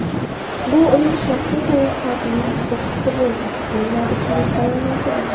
Bu uning shaxsiy sayohatining cho‘qqisi bo‘ldi”, deyiladi klub bayonotida.